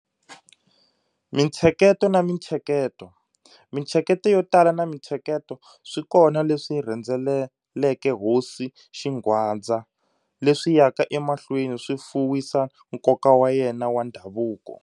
Mintsheketo na Mintsheketo-Mintsheketo yo tala na mintsheketo swi kona leswi rhendzeleke Hosi Xingwadza, leswi yaka emahlweni swi fuwisa nkoka wa yena wa ndhavuko.